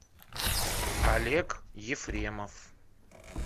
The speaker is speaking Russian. олег ефремов